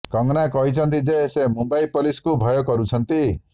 କଙ୍ଗନା କହିଛନ୍ତି ଯେ ସେ ମୁମ୍ବାଇ ପୋଲିସକୁ ଭୟ କରୁଛନ୍ତି